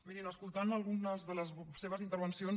mirin escoltant algunes de les seves intervencions